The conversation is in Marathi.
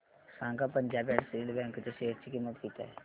सांगा पंजाब अँड सिंध बँक च्या शेअर ची किंमत किती आहे